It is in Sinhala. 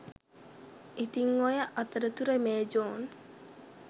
ඉතින් ඔය අතරතුර මේ ජෝන්